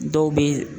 Dɔw bɛ